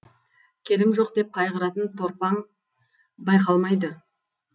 келім жоқ деп қайғыратын торпаң байқалмайды